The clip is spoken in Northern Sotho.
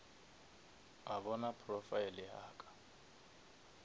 a bona profile ya ka